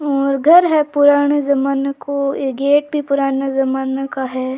और घर है पुराने ज़माने को ये गेट भी पुराने ज़माने का है।